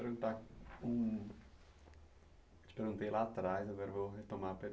Vou perguntar hum eu te perguntei lá atrás, agora vou retomar a pergunta.